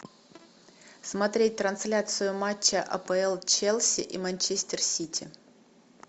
смотреть трансляцию матча апл челси и манчестер сити